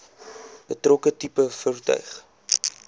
betrokke tipe voertuig